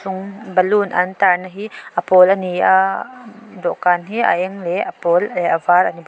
ṭawng balloon an tar na hi a pawl ani a dawhkan hi a eng leh a pawl leh a var ani bawk.